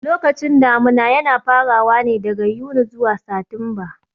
Lokacin damuna yana farawa ne daga Yuni zuwa Satimba